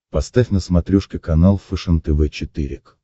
поставь на смотрешке канал фэшен тв четыре к